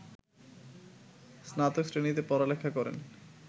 স্নাতক শ্রেণিতে পড়ালেখা করেন